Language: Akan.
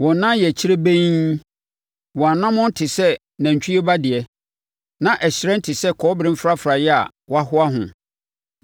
Wɔn nan yɛ kyirebenn, wɔn anammɔn te sɛ nantwie ba deɛ, na ɛhyerɛn te sɛ kɔbere mfrafraeɛ a wɔahoa ho.